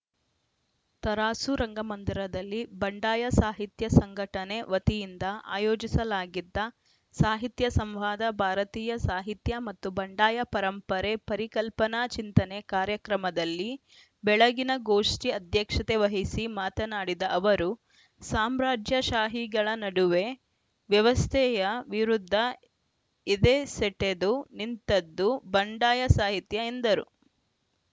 ತರಾಸು ರಂಗಮಂದಿರದಲ್ಲಿ ಬಂಡಾಯ ಸಾಹಿತ್ಯ ಸಂಘಟನೆ ವತಿಯಿಂದ ಆಯೋಜಿಸಲಾಗಿದ್ದ ಸಾಹಿತ್ಯ ಸಂವಾದ ಭಾರತೀಯ ಸಾಹಿತ್ಯ ಮತ್ತು ಬಂಡಾಯ ಪರಂಪರೆ ಪರಿಕಲ್ಪನಾ ಚಿಂತನೆ ಕಾರ್ಯಕ್ರಮದಲ್ಲಿ ಬೆಳಗಿನ ಗೋಷ್ಠಿ ಅಧ್ಯಕ್ಷತೆ ವಹಿಸಿ ಮಾತನಾಡಿದ ಅವರು ಸಾಮ್ರಾಜ್ಯ ಶಾಹಿಗಳ ನಡುವೆ ವ್ಯವಸ್ಥೆಯ ವಿರುದ್ಧ ಎದೆಸೆಟೆದು ನಿಂತದ್ದು ಬಂಡಾಯ ಸಾಹಿತ್ಯ ಎಂದರು